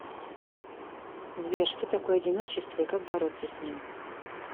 сбер что такое одиночество и как бороться с ним